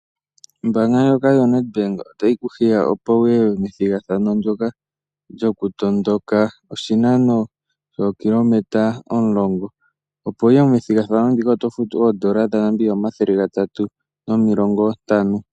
Ombaanga ndjoka yo Nedbank otayi ku hiya opo wuye methigathano ndyoka lyoku tondoka oshinano shookilometa omulongo. Opo wuye methigathano ndika oto futu oondola dha Namibia omathele gatatu nomilongo ntano.